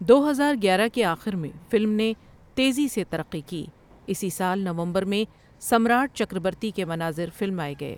دو ہزار گیارہ کے آخر میں فلم نے تیزی سے ترقی کی، اسی سال نومبر میں سمراٹ چکربرتی کے مناظر فلمائے گئے۔